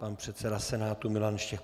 Pan předseda Senátu Milan Štěch.